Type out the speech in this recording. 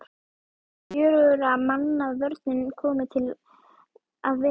Er fjögurra manna vörnin komin til að vera?